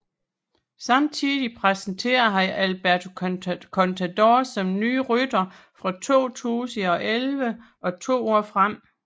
Samtidig præsenterede han Alberto Contador som ny rytter fra 2011 og to år frem